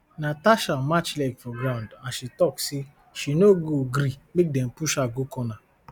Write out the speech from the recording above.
natasha match leg for ground as she tok say she no go gree make dem push her go corner